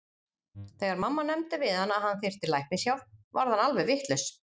Þegar mamma nefndi við hann að hann þyrfti læknishjálp varð hann alveg vitlaus.